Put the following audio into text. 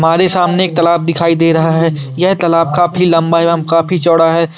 हमारी सामने एक तालाब दिखाई दे रहा है यह तालाब काफी लंबा एवं काफी चौड़ा है।